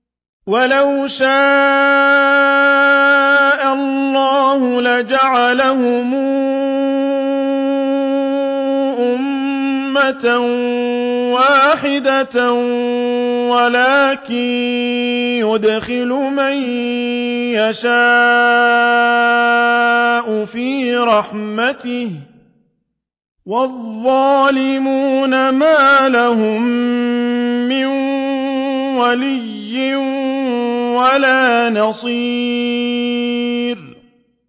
وَلَوْ شَاءَ اللَّهُ لَجَعَلَهُمْ أُمَّةً وَاحِدَةً وَلَٰكِن يُدْخِلُ مَن يَشَاءُ فِي رَحْمَتِهِ ۚ وَالظَّالِمُونَ مَا لَهُم مِّن وَلِيٍّ وَلَا نَصِيرٍ